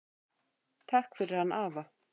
Takk fyrir hann afa.